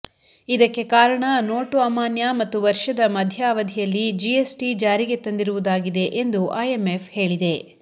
ಇದಕ್ಕೆ ಕಾರಣ ನೋಟು ಅಮಾನ್ಯ ಮತ್ತು ವರ್ಷದ ಮಧ್ಯ ಅವಧಿಯಲ್ಲಿ ಜಿಎಸ್ಟಿ ಜಾರಿಗೆ ತಂದಿರುವುದಾಗಿದೆ ಎಂದು ಐಎಂಎಫ್ ಹೇಳಿದೆ